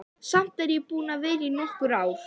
Samt er ég búin að vera í nokkur ár.